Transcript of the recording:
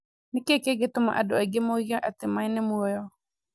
Nĩ kĩĩ kĩngĩtũma andũ aingĩ moige atĩ maĩ ni muoyo?